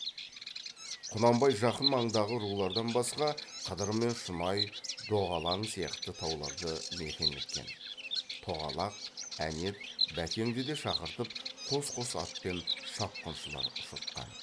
құнанбай жақын маңдағы рулардан басқа қыдыр мен шұнай доғалаң сияқты тауларды мекен еткен тоғалақ әнет бәкенді де шақыртып қос қос атпен шапқыншылар ұшыртқан